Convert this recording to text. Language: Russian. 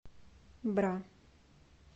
бра